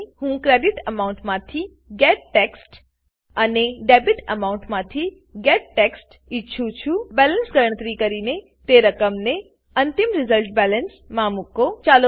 હું credit amount credit amount માંથી getText get text અને ડેબિટામાઉન્ટ ડેબીટએમાઉન્ટ માંથી getText ગેટટેક્સ્ટ ઈચ્છું છું બેલેન્સ ગણતરી કરીને તે રકમને અંતિમ રિઝલ્ટબેલેન્સ રીઝલ્ટબેલેન્સ માં મુકો